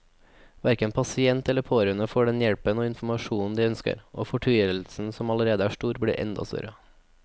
Hverken pasient eller pårørende får den hjelpen og informasjonen de ønsker, og fortvilelsen som allerede er stor, blir enda større.